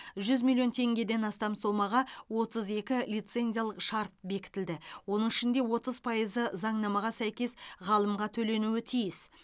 жүз миллион теңгеден астам сомаға отыз екі лицензиялық шарт бекітілді оның ішінде отыз пайызы заңнамаға сәйкес ғалымға төленуі тиіс